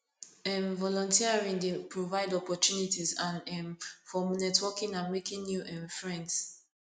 um volunteering dey provide opportunties and um for networking and making new um friends